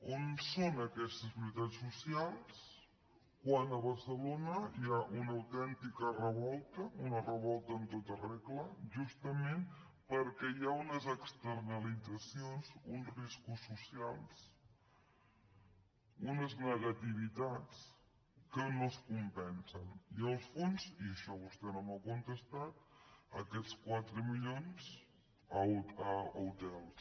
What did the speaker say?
on són aquestes prioritats socials quan a barcelona hi ha una autèntica revolta una revolta en tota regla justament perquè hi ha unes externalitzacions uns riscos socials unes negativitats que no es compensen i el fons i a això vostè no m’ha contestat aquests quatre milions a hotels